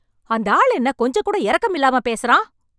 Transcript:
அந்த ஆளு என்ன கொஞ்சம்கூட இரக்கமில்லாம பேசறான்..